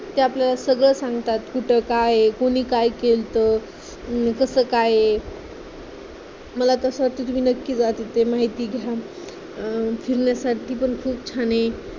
ते आपल्याला सगळं सांगतात कुठं काय आहे, कुणी काय केलतं, अं कसं काय आहे, मला तर असं वाटतं कि तुम्ही नक्की जा तिथं माहिती घ्या अं फिरण्यासाठी पण खूप छान आहे.